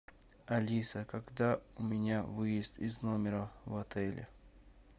алиса когда у меня выезд из номера в отеле